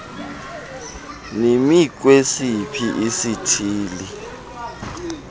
imi kwesiphi isithili